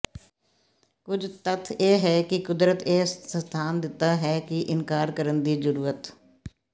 ਕੁਝ ਤੱਥ ਇਹ ਹੈ ਕਿ ਕੁਦਰਤ ਇਹ ਸਥਾਨ ਦਿੱਤਾ ਹੈ ਇਨਕਾਰ ਕਰਨ ਦੀ ਜੁਰਅਤ